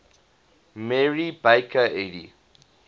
mary baker eddy